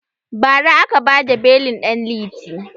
Ba ra aka bada belin ɗan liti